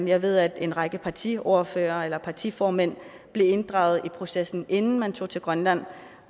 jeg ved at en række partiordførere eller partiformænd blev inddraget i processen inden man tog til grønland